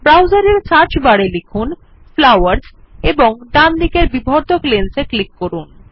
ব্রাউজারের search bar এ লিখুন flowers এবং ডান দিকের বিবর্ধক লেন্স এ ক্লিক করুন